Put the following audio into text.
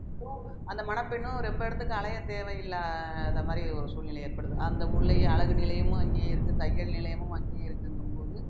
அந்த மணப்பெண்ணும் ரொம்ப இடத்துக்கு அலைய தேவையில்லாத மாதிரி ஒரு சூழ்நில ஏற்படுது அந்த ஊர்லயே அழகு நிலையமும் அங்கேயே இருக்கு தையல் நிலையமும் அங்கேயே இருக்குங்கும் போது